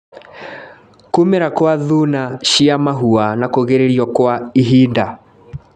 Kũmĩra gwa thuna cia mahũa na kũgirĩrio kwa ihinda